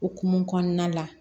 Okumu kɔnɔna la